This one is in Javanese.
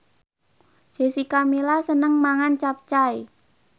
Jessica Milla seneng mangan capcay